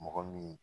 Mɔgɔ min